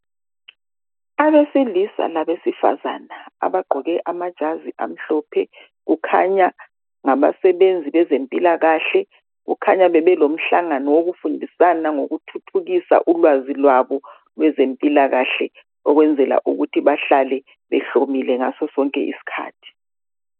Abesilisa labesifazana abagqoke amajazi amhlophe, kukhanya ngabasebenzi bezempilakahle, kukhanya bebelo mhlangano wokufundisana ngokuthuthukisa ulwazi lwabo kwezempilakahle ukwenzela ukuthi behlale behlomile ngaso sonke iskhathi.